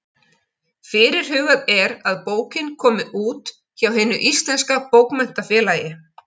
Fyrirhugað er að bókin komi út hjá Hinu íslenska bókmenntafélagi.